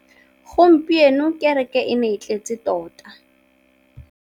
Gompieno kêrêkê e ne e tletse tota.